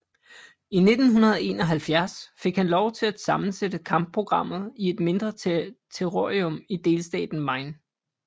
I 1971 fik han lov til at sammensætte kampprogrammet i et mindre terrorium i delstaten Maine